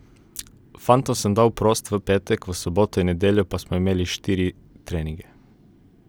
Fantom sem dal prosto v petek, v soboto in nedeljo pa smo imeli štiri treninge.